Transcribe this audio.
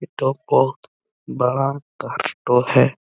तो बहोत बड़ा का स्टोर है।